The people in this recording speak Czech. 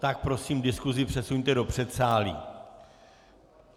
Tak prosím, diskusi přesuňte do předsálí.